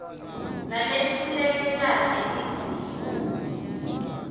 naletfuleke kahle lizinga